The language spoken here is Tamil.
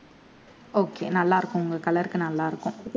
okay நல்லாருக்கும் உங்க color க்கு நல்லாருக்கும்.